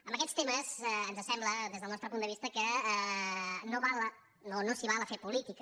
en aquests temes ens sembla des del nostre punt de vista que no s’hi val a fer política